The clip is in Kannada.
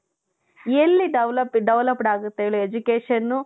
ಎಲ್ಲಿ developed developed ಆಗುತ್ತೆ ಹೇಳಿ education